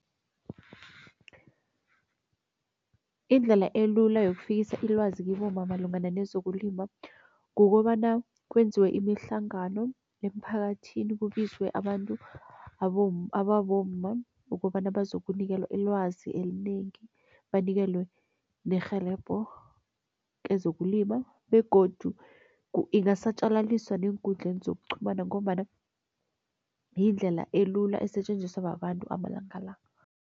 Indlela elula yokufikisa ilwazi kibomma malungana nezokulima, kukobana kwenziwe imihlangano emphakathini kubizwe abantu ababomma ukobana bazokunikelwa ilwazi elinengi. Banikelwe nerhelebho kezokulima begodu ingasatjaliswa neenkundleni zokuqhumana ngombana yindlela elula esetjenziswa babantu amalanga la.